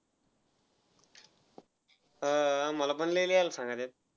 हा आम्हाला पण लई लिहायला सांगितलय.